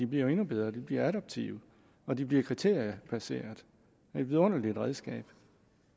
bliver endnu bedre de bliver adaptive og de bliver kriteriebaserede et vidunderligt redskab